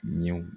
Ɲɛw